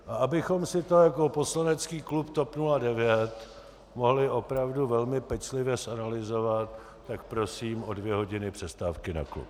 A abychom si to jako poslanecký klub TOP 90 mohli opravdu velmi pečlivě zanalyzovat, tak prosím o dvě hodiny přestávky na klub.